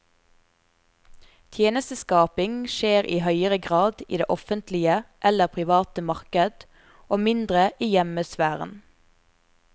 Tjenesteskaping skjer i høyere grad i det offentlige eller private marked og mindre i hjemmesfæren.